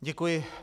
Děkuji.